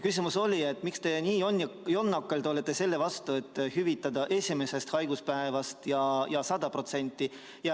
Küsimus oli, et miks te nii jonnakalt olete selle vastu, et hüvitada esimesest haiguspäevast 100% ulatuses.